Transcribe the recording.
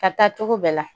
Ka taa cogo bɛɛ la